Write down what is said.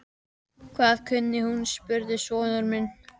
Hvað kunni hún? spurði sonur minn.